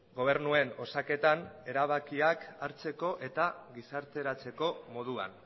gobernuen osaketan erabakiak hartzeko eta gizarteratzeko moduan